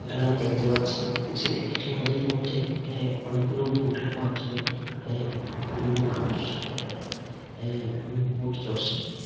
এখানে আমি দেখতে পাচ্ছি যে একটি নদীর মধ্যে এ অনেকগুলো বোটের মাধ্যমে এ বিভিন্ন মানুষ এ এ উম বোট চড়ছে।